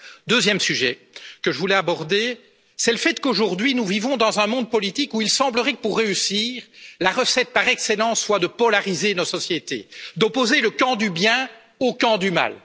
Deuxième sujet que je voulais aborder, c'est le fait qu'aujourd'hui nous vivons dans un monde politique où il semblerait que, pour réussir, la recette par excellence soit de polariser nos sociétés, d'opposer le camp du bien au camp du mal.